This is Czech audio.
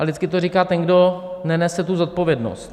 A vždycky to říká ten, kdo nenese tu zodpovědnost.